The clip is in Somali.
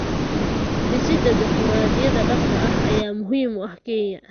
Dhisida dimuqraadiyadda dhabta ah ayaa muhiim u ah Kenya.